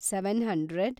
seven hundred